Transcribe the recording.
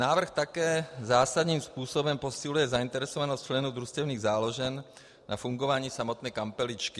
Návrh také zásadním způsobem posiluje zainteresovanost členů družstevních záložen na fungování samotné kampeličky.